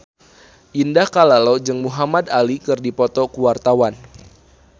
Indah Kalalo jeung Muhamad Ali keur dipoto ku wartawan